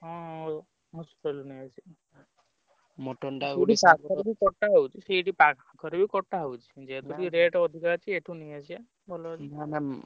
ହଁ ~ଅ ଅସୁରାଳିରୁ ନେଇ ଆସିବା ବି କଟାହଉଛି ସେଇଠି ~ପା ~ଖରେ ବି କଟା ହଉଛି। ଯେହେତୁ ଟିକେ rate ଅଧିକା ଅଛି ଏଠୁ ନେଇଆସିବା। ଭଲ ।